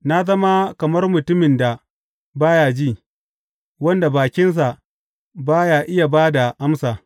Na zama kamar mutumin da ba ya ji, wanda bakinsa ba ya iya ba da amsa.